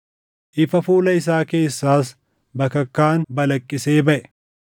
Ifa fuula isaa keessaas bakakkaan balaqqisee baʼe.